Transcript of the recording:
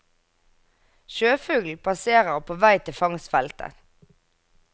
Sjøfugl passerer på vei til fangstfeltet.